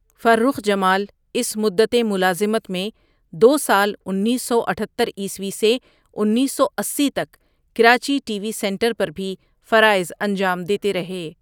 فرخ جمالؔ اس مُدتِ ملازمت میں دو سال اینس سو اتھتر عیسوی ؁ سے اینس سو اسی تک کراچی ٹی وی سینٹر پر بھی فرائض انجام دیتے رہے ۔